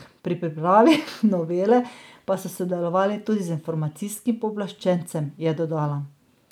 Pri pripravi novele pa so sodelovali tudi z informacijskim pooblaščencem, je dodala.